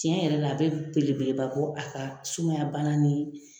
Cɛn yɛrɛ la a bi belebeleba bɔ a ka sumayabana